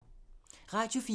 Radio 4